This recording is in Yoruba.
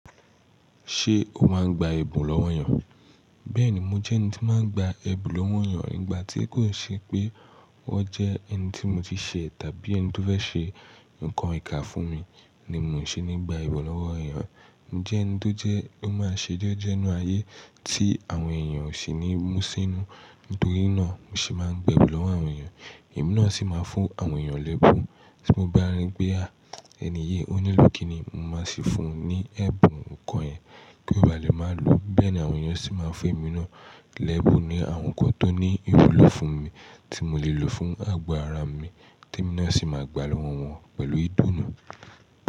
Ṣé o máa ń gba ẹ̀bùn lọ́wọ́ ènìyàn? Bẹ́ẹ̀ni, mo jẹ́ ẹni tí máa ń gba ẹ̀bùn lọ́wọ́ ènìyàn nígbà tí kò n ṣe pé wọ́n jẹ́ ẹni tí mo ti ṣe tàbí ẹni tó fẹ́ ṣe nǹkan ìkà fún mi ni mo ò ṣe ní gba ẹ̀bùn lọ́wọ́ èeyàn. Mo je ẹniti tó jẹ́ o máa ṣe jẹ́jẹ́ nínú ayé tí àwọn èèyàn ò sì ní mú sínú, nítorí náà mo sì máa ń gba ẹ̀bùn lọ́wọ́ àwọn ènìyàn, èmi náà sì máa ń fún àwọn ènìyàn lẹ́bùn. Tí mo bá rí pé, a! Ẹni yii ó nílò kíni yii mo máa sì fún un ní ẹ̀bùn nǹkan yẹn kí ó ba lè máa lo, bẹ́ẹ̀ ni àwọn ènìyàn sì máa ń fún èmi náà lẹ́bùn ní àwọn nǹkan tó ní ìwúlò fún mi tí mo lè lò fún àgbo ara mi, tí èmi náà sì máa gba lọ́wọ́ wọn pẹ̀lú ìdúnà.